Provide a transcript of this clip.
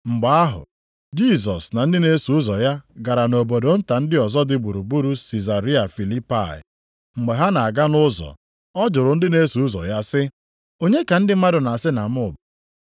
Mgbe ahụ Jisọs na ndị na-eso ụzọ ya gara nʼobodo nta ndị ọzọ dị gburugburu Sizaria Filipai. Mgbe ha na-aga nʼụzọ, ọ jụrụ ndị na-eso ụzọ ya sị, “Onye ka ndị mmadụ na-asị na m bụ?”